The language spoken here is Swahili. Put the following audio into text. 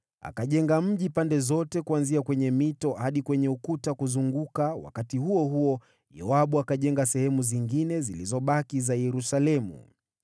Akajenga mji pande zote, kuanzia kwenye mito hadi kwenye ukuta kuzunguka, wakati huo huo Yoabu akajenga sehemu zingine zilizobaki za Yerusalemu.